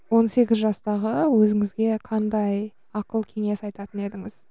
он сегіз жастағы өзіңізге қандай ақыл кеңес айтатын едіңіз